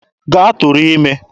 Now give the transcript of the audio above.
Gaa tụrụ ime!